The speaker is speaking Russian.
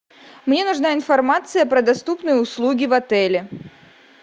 мне нужна информация про доступные услуги в отеле